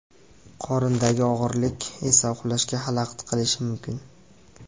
Qorindagi og‘irlik esa uxlashga xalaqit qilishi mumkin.